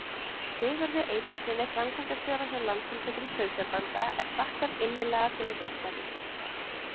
Sigurði Eyþórssyni, framkvæmdastjóra hjá Landssamtökum sauðfjárbænda, er þakkað innilega fyrir veittar upplýsingar.